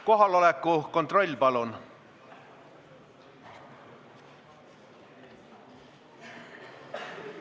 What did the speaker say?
Kohaloleku kontroll, palun!